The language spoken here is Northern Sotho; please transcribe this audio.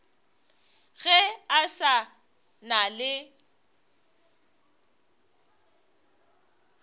ge a sa na le